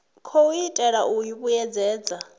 khou itelwa u i vhuedzedza